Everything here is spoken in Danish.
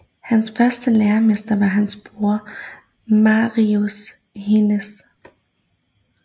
Hans første læremester var hans bror Maurice Hines